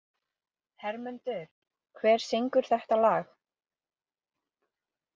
Hermundur, hver syngur þetta lag?